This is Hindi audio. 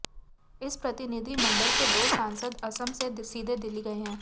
इस प्रतिनिधिमंडल के दो सांसद असम से सीधे दिल्ली गए हैं